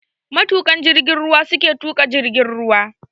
Matuƙan jigin ruwa yake tuƙa jirgin ruwa.